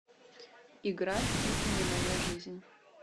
играй это не моя жизнь